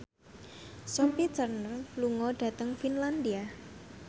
Sophie Turner lunga dhateng Finlandia